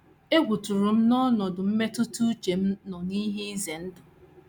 Egwu tụrụ m na ọnọdụ mmetụta uche m nọ n’ihe ize ndụ.